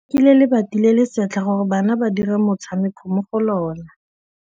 Ba rekile lebati le le setlha gore bana ba dire motshameko mo go lona.